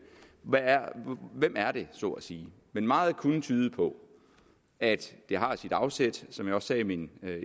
er så at sige men meget kunne tyde på at det har sit afsæt som jeg også sagde i min